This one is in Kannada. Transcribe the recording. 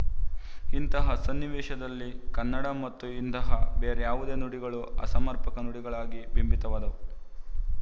ಇಂತಹ ಸನ್ನಿವೇಶದಲ್ಲಿ ಕನ್ನಡ ಮತ್ತು ಇಂತಹ ಬೇರ್ಯಾವುದೇ ನುಡಿಗಳು ಅಸಮರ್ಪಕ ನುಡಿಗಳಾಗಿ ಬಿಂಬಿತವಾದವು